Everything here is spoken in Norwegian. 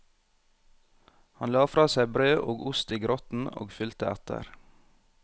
Han la fra seg brød og ost i grotten og fulgte etter.